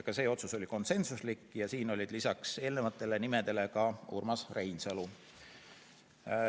Ka see otsus oli konsensuslik ja siin lisaks eelnevatele ka Urmas Reinsalu.